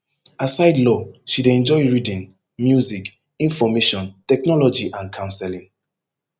aside law she dey enjoy reading music information technology and counselling